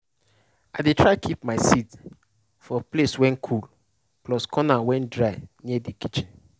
i dey try keep my seed for place wen cool plus corner wen dry near de kitchen.